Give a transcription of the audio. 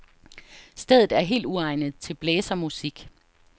Stedet er helt uegnet til blæsermusik.